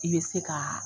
I bɛ se ka